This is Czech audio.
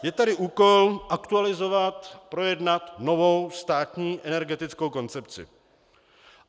Je tady úkol aktualizovat, projednat novou státní energetickou koncepci.